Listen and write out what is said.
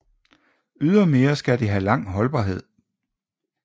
Ydermere skal det have lang holdbarhed